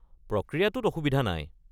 প্রক্রিয়াটোত অসুবিধা নাই।